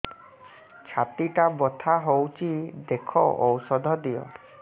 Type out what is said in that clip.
ଛାତି ଟା ବଥା ହଉଚି ଦେଖ ଔଷଧ ଦିଅ